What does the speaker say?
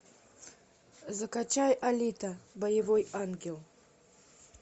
закачай алита боевой ангел